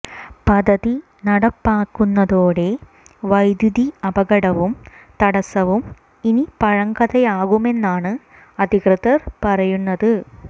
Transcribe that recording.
പദ്ധതി നടപ്പാകുന്നതോടെ വൈദ്യുതി അപകടവും തടസവും ഇനി പഴങ്കഥയാകുമെന്നാണ് അധികൃതര് പറയുന്നത്